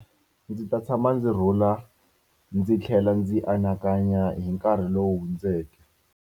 Ndzi ta tshama ndzi rhula, ndzi tlhela ndzi anakanya hi nkarhi lowu hundzeke.